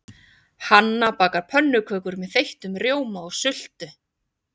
Hanna bakar pönnukökur með þeyttum rjóma og sultu.